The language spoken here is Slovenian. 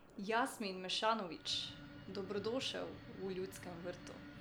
Jasmin Mešanović, dobrodošel v Ljudskem vrtu!